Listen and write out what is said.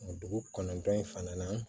Dugu kɔnɔntɔn in fana na